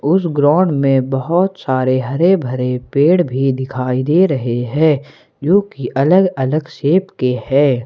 उस ग्राउंड में बहुत सारे हरे भरे पेड़ भी दिखाई दे रहे हैं जो कि अलग से शेप के है।